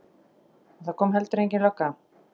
Og það kom heldur engin lögga.